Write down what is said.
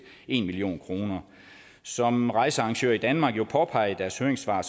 en million kroner som rejsearrangører i danmark jo påpeger i deres høringssvar